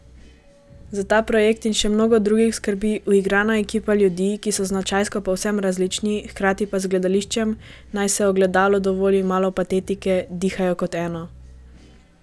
Za ta projekt in še mnogo drugih skrbi uigrana ekipa ljudi, ki so značajsko povsem različni, hkrati pa z gledališčem, naj se Ogledalu dovoli malo patetike, dihajo kot eno.